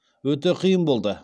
өте қиын болды